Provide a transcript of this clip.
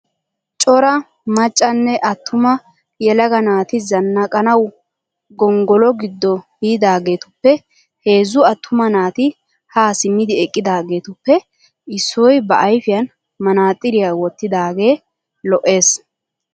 Cora maccanne atuma yelaga naati zannaqqanawu gongolo giddo biidaageetuppe heezzu attuma naati haa simmidi eqqidaageetuppe issoy ba ayifiyan manaxiriya wottidaagee lo'es.